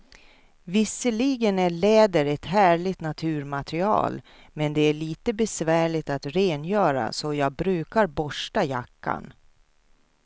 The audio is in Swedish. Visserligen är läder ett härligt naturmaterial, men det är lite besvärligt att rengöra, så jag brukar borsta jackan.